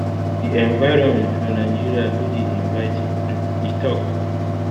di environment for nigeria no dey inviting um e tok